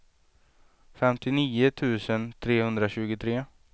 femtionio tusen trehundratjugotre